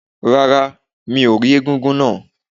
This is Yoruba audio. Rárá, mi ò rí egúngún náà.